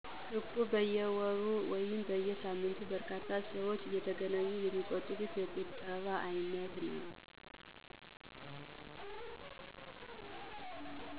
እቁብ በየ ወሩ ወይም በየ ሳምንቱ በርካታ ሰወች እየተገናኙ የሚቁጥቡት የቁጠባ አይነት ነው።